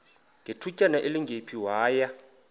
ngethutyana elingephi waya